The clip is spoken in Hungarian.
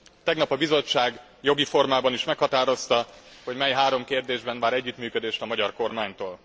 Tegnap a Bizottság jogi formában is meghatározta, hogy mely három kérdésben vár együttműködést a magyar kormánytól.